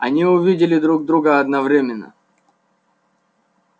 они увидели друг друга одновременно